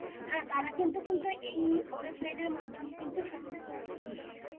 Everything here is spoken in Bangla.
হ্যাঁ তারা কিন্তু কিন্তু এই ওয়েবসাইটের মাধ্যমে কিন্তু সমস্ত তথ্য জানতে পারবে।